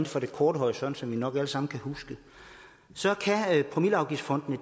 for den korte horisont som vi nok alle sammen kan huske så har promilleafgiftsfondene